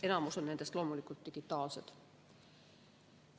Enamus nendest on loomulikult digitaalsed.